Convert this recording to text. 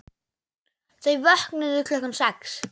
Þau vöknuðu klukkan sex.